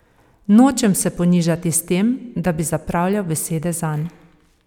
Nočem se ponižati s tem, da bi zapravljal besede zanj.